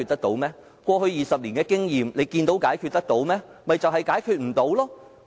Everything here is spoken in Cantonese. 根據過去20年的經驗，我們看到這些問題可以解決嗎？